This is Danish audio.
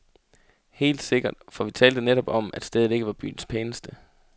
Helt sikkert, for vi talte netop om, at stedet ikke var byens pæneste.